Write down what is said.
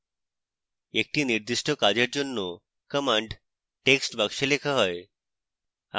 একটি নির্দিষ্ট কাজের জন্য command text box লেখা হবে